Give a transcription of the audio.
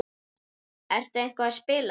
Ertu eitthvað að spila þar?